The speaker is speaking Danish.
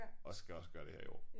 Og skal også gøre det her i år